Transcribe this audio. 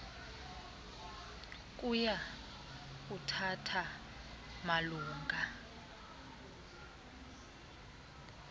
kuya kuthatha malunga